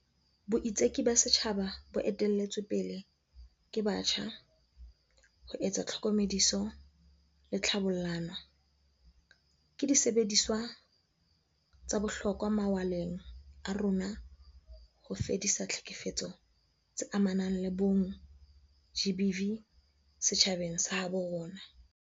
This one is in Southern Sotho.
Boitseki ba setjhaba bo ete-lletsweng pele ke batjha, ho etsa tlhokomediso le tlhabollano, ke disebediswa tsa bohlokwa mawaleng a rona a ho fedisa ditlhekefetso tse amanang le bong, GBV, setjhabeng sa habo rona.